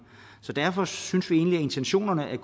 derfor synes vi egentlig at intentionerne i